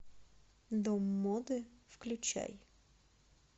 дом моды включай